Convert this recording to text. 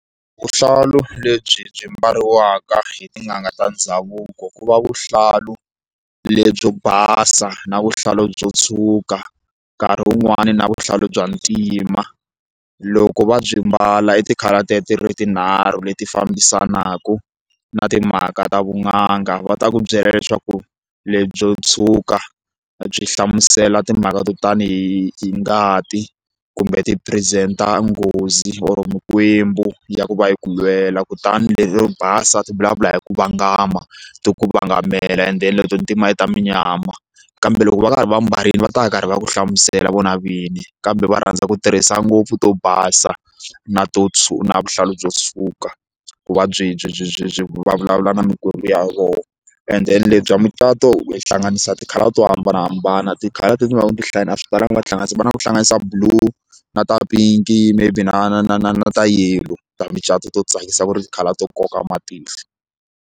Vuhlalu lebyi byi mbariwaka hi tin'anga ta ndhavuko ku va vuhlalu lebyi basa na vuhlalu byo tshwuka nkarhi wun'wani na vuhlalu bya ntima loko va byi mbala i ti-colour tete ti ri tinharhu leti fambisanaku na timhaka ta vun'anga va ta ku byela leswaku lebyo tshwuka byi hlamusela timhaka to tani hi ngati kumbe ti-present-a nghozi or mikwembu ya ku va yi ku lwela kutani lero basa ta vulavula hi ku vangama ti ku vanga tshamela enden leto ni timali ta munyama kambe loko va karhi va mbarile va ta va karhi va ku hlamusela vona vinyi kambe va rhandza ku tirhisa ngopfu to basa na to na vuhlalu byo suka vuvabyi byi byi byi byi va vulavula na mikwembu ya vona and then le bya mucato ku tihlanganisa ti-colour to hambanahambana ti-color etindhawini to hlaya a swi talanga va tihlanganisa na ku hlanganisa blue na ta pinki i maybe na na na na na ta yellow ta mucato to tsakisa ku ri tikhala to koka matihlo.